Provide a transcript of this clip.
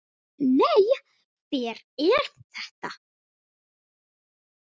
Nei, hver er þetta?